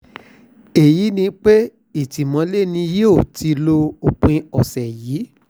èyí ni pé ìtìmọ́lẹ̀ ni yóò ti lo òpin ọ̀sẹ̀ yìí